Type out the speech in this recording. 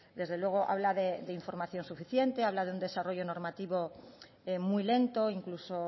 desde luego habla de información suficiente habla de un desarrollo normativo muy lento incluso